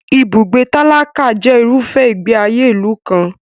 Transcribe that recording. Ibùgbé tálákà jẹ irúfẹ́ ìgbé ayé ìlú kan.